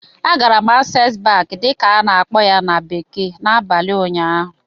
Agara m "Access Bank" dịka a na-akpọ ya na bekee n'abalị ụnyaahụ